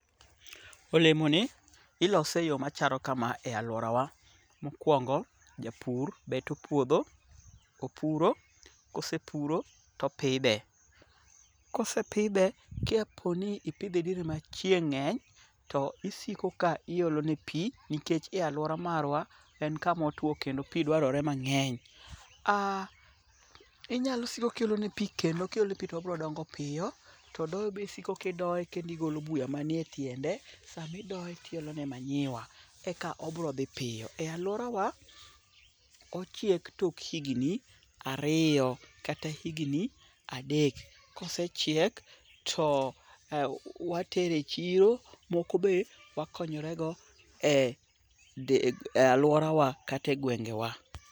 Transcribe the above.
Olemoni ilose e yo machalo kama e alworawa. Mokwongo japur beto puodho opuro, kosepuro topidhe. Kosepidhe kaponi ipidhe diere machieng' ng'eny to isiko ka iolone pi nikech e alwora marwa en kamotwo kendo pi dwarore mang'eny. Inyalo siko kiolone pi kendo kiolone pi tobiro dongo piyo todoyo be isiko kidoye kendo igolo buya manie tiende samidoye tiolone manyiwa eka obro dhi piyo. E alworawa, ochiek tok higni ariyo kata higni adek kosechiek to watere chiro moko be wakonyorego e alworawa kata e gwengewa.